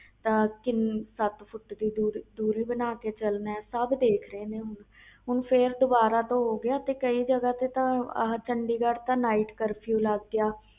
ਸਤ ਫੁੱਟ ਦੀ ਦੂਰੀ ਬਣਾ ਕੇ ਰੱਖਣੀ ਆ ਸਬ ਦੇਖ ਰਹੇ ਨੇ ਹੁਣ ਹੁਣ ਫਿਰ ਦੁਬਾਰਾ ਤੋਂ ਹੋ ਗਿਆ ਕਈ ਜਗ੍ਹਾ ਤੇ night ਕਰਫਿਊ ਲਗ ਗਿਆ